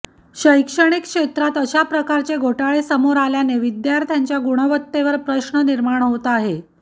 शैक्षणिक क्षेत्रात अशा प्रकारचे घोटाळे समोर आल्याने विद्यार्थ्यांच्या गुणवत्तेवर प्रश्न निर्माण होत आहे